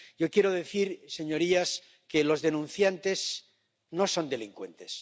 Yo quiero decir, señorías, que los denunciantes no son delincuentes